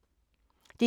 DR1